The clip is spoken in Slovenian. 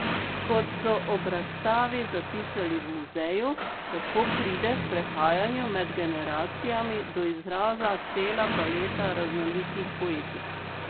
Kot so ob razstavi zapisali v muzeju, tako pride v prehajanju med generacijami do izraza cela paleta raznolikih poetik.